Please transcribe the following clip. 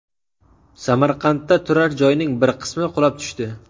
Samarqandda turar-joyning bir qismi qulab tushdi .